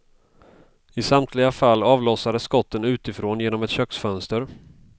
I samtliga fall avlossades skotten utifrån, genom ett köksfönster.